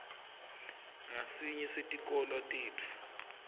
ngasinye setikolo tetfu